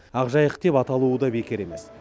ақ жайық деп аталуы да бекер емес